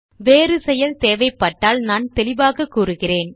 வேறு செயல் தேவைப்பட்டால் நான் தெளிவாக கூறுகிறேன்